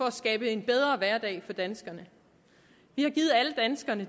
at skabe en bedre hverdag for danskerne